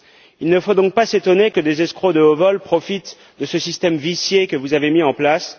Il ne faut donc pas s'étonner que des escrocs de haut vol profitent de ce système vicié que vous avez mis en place.